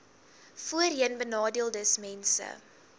voorheenbenadeeldesmense